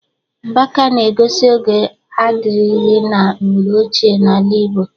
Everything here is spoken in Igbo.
Mgbaka na-egosi oge adịrịghị na mgbe ochie n'ala Igbo